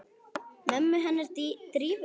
Mömmu hennar Drífu?